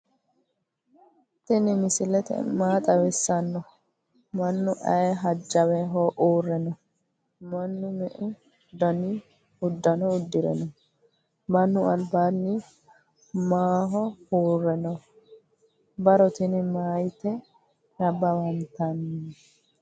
tini misile maa xawisano? maanu ayee hajawe hure no?manu meu dani udano uudire no ?manu albani mawodhe ure no?barro tini mayite nabawantani?